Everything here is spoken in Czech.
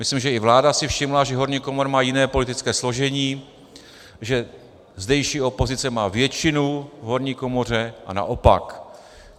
Myslím, že i vláda si všimla, že horní komora má jiné politické složení, že zdejší opozice má většinu v horní komoře, a naopak.